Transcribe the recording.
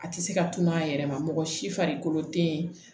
A tɛ se ka tunun a yɛrɛ ma mɔgɔ si farikolo tɛ yen